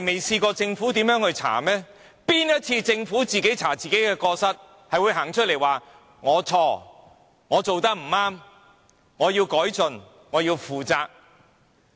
試問政府有哪一次調查自己的過失後是會站出來說："是我錯，我做得不對，我要改進，我要負責"？